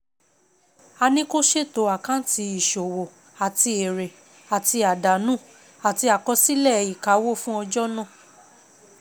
A ní ko ṣètò Àkáǹtì ìṣòwò àti èrè àti àdánù àti àkọsílẹ̀ ìkáwó fún ọjọ́ náà.